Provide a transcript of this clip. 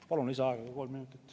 Palun lisaaega kolm minutit.